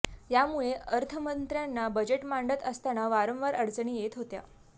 यामुळे अर्थमंत्र्यांना बजेट मांडत असताना वारंवार अडचणी येत होत्या